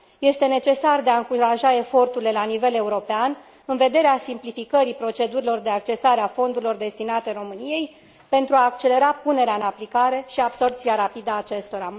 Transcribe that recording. Este necesar de a încuraja eforturile la nivel european, în vederea simplificării procedurilor de accesare a fondurilor destinate României, pentru a accelera punerea în aplicare și absorbția rapidă a acestora.